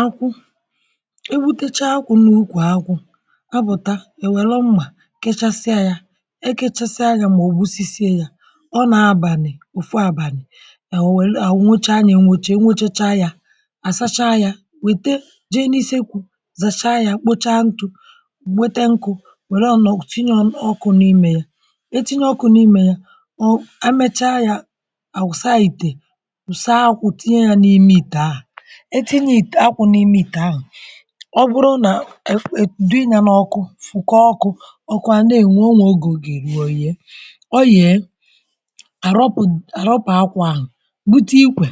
Akwụ. E butecha akwụ n’ukwù akwụ. A pụ̀ta èwelu mmà kechasịa ya, e kechasịa ya mà ogbusisie ya, ọ nà abànị̀ òfu abànị̀, enwelu àwụcha ya àwụcha enwechacha ya àsacha ya wète jee n’ise kwù zacha ya kpocha ntụ̀, nwete nkụ̇ wère ọ̀nọọ̀ tinye ọkụ̇ n’imè ya. E tinye ọkụ n’imè a emechaa ya, àsa ìtè, saa akwụ̀ tinye ya n’ime ìtè ahụ̀. E tinye it akwu n'ime ite ahu ọ bụrụ nà e e dị nya n’ọkụ fụ kọ ọkụ ọkụ à nà-ènwu onwe oge oye-eru ọ yèe. Ọ yèe àrọpụ àrọpụ àgwà ahu bute ikwè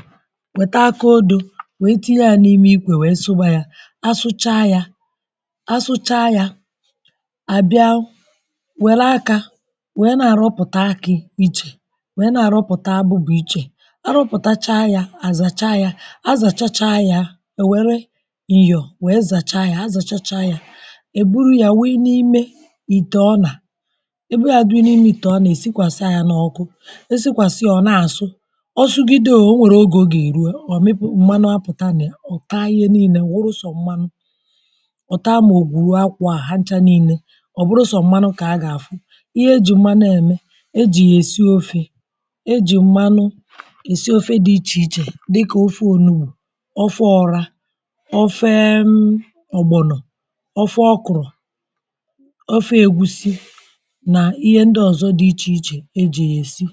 weta akọ odu̇ we tinye ya n'ime ikwè we sụwa yȧ asụchaa yȧ asụchaa yȧ àbịa wère akȧ we na-àrọpụ̀ta akị̇ ichè we na-àrọpụ̀ta abụbụ̇ ichè arụpụ̀tacha yȧ àzàcha yȧ, àzàchacha yȧ, e weere nyọ wee zàcha yȧ, àzàchacha yȧ è buru ya wuyi n’imė itè ọnà, àwuyi ya dị n’imė itè ọnà èsikwàsa ya n’ọkụ, esikwàsa ya ọ na-àsụ, ọ sugide oo onwèrè ogè o gà-èru, ọ mịpụ mmanụ apụta nà ya, ọ taa ihe niilė burụsọ mmanụ, ọ̀ taa maọ̀bụ̀rụ̀ akwọ à ha ncha niilė ọ bụrụ sọ mmanụ kà a gà-àfụ. Ihe e jì mmanụ eme. e jì yà èsi ofė, e jì mmanụ èsi ofė dị ichè ichè dịka ofe onugbù, ofe ọrȧ, ofe uhm ọ̀gbọnọ̀, ofe ọkụ̀rụ̀, ofe ègwusi nà ihe ndị ọ̀zọ dị ichèichè e jì yà èsi.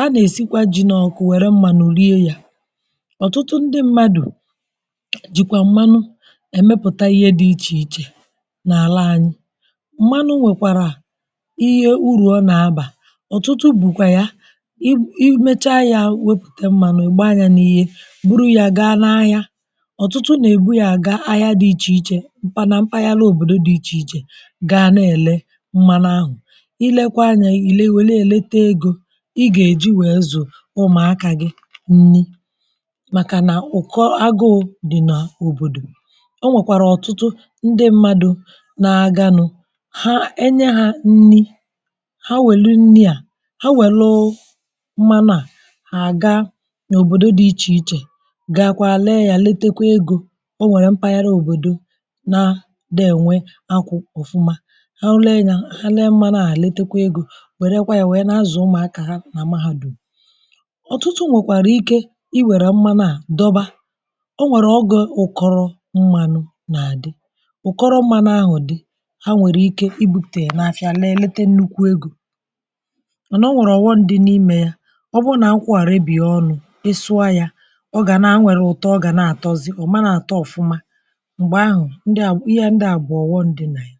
A nà-èsikwa ji n’ọ̀kụ wère mmanụ rie yȧ. Ọ̀tụtụ ndị mmadụ̀ jìkwà mmanụ èmepụ̀ta ihe dị ichèichè n’àla anyị. Mmanụ nwèkwàrà ihe urù ọ nà abà. Ọ̀tụtụ bùkwà ya i i mecha ya wepụ̀te mmanụ ịgba yȧ n’ihe buru ya gaa n'ahịa. Ọ̀tụtụ nà-èbu ya aga ahịa dị ichè ichè, mpa na mpagharà ahịa òbòdo dị ichè ichè gaa na-èle mmanụ ahụ̀. I lekwa yà i lee wère ya lete egȯ ị gà-èji wèe zù ụmụakà gị nni màkà nà ụ̀kọ agụụ dị̀ n’òbòdò. O nwèkwàrà ọtụtụ ndị mmadụ̇ na-aga nụ̇ ha enye hȧ nni ha wèlu nni à ha wèluuu mmanụ à hà ga òbòdo dị ichè ichè ichè gakwaa ree ya letakwa ego, onwere mpaghara obodo na ne enwe akwụ ọfụma, ha lee ya ha lee mmanụ̇ ha-elete kwa egȯ were kwa ya were n'azụ̀ ụmụ̀akà ha na mahadum. Ọ̀tụtụ nwekwara ike i were mmanu a dọwa, o nwere ọge ụkọrọ mmanụ na-adị ụkọrọ mmanụ ahụ dị ha nwere ike i bupute n'afịa lee lete nnukwu egȯ mana o nwere ọghọm dị n'ime ya. Ọ bụrụ na akwụ a ree bie ọṅụ, ị sụọ ya, ọ ga na a nwere ụtọ ọ ga na-atọzị, ọọmana atọ ọfụma. Mgbe ahụ dị à ihe ndị à bụ ọghọm ndị nà ya